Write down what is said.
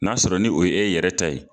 N'a sɔrɔ ni o ye yɛrɛ ta ye